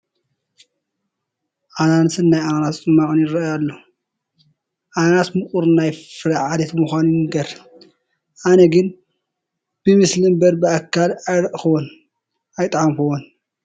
ኣናናስን ናእ ኣናናስ ፅሟቕን ይርአዩ ኣለዉ፡፡ ኣናናስ ምቑር ናይ ፍረ ዓሌት ምዃኑ ይንገር፡፡ ኣነ ግን ብምስሊ እምበር ብኣካል ኣይረአኽዎን፡፡ ኣይጠዓምኹዎን፡፡